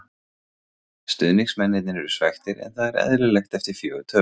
Stuðningsmennirnir eru svekktir en það er eðlilegt eftir fjögur töp.